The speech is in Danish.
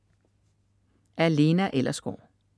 Af Lena Ellersgaard